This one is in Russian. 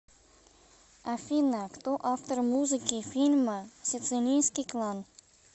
афина кто автор музыки фильма сицилийский клан